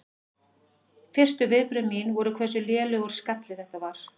Fyrstu viðbrögð mín voru hversu lélegur skalli þetta var.